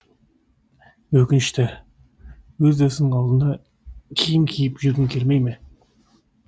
өкінішті өз досыңның алдында киім киіп жүргің келмей ме